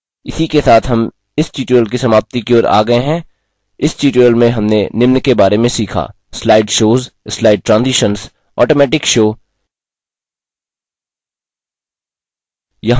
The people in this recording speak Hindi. इसी के साथ हम इस tutorial की समाप्ति की ओर आ गये हैं slide shows slide shows slide transitions slide transitions automatic show automatic show